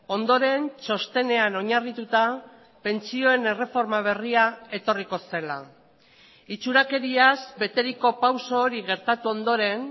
ondoren txostenean oinarrituta pentsioen erreforma berria etorriko zela itxurakeriaz beteriko pauso hori gertatu ondoren